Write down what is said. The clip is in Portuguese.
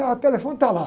Ah, o telefone está lá.